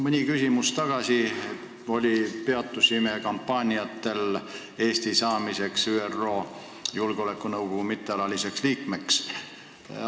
Mõni küsimus tagasi peatusime kampaaniatel Eesti saamiseks ÜRO Julgeolekunõukogu mittealaliseks liikmeks.